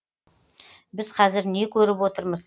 біз қазір не көріп отырмыз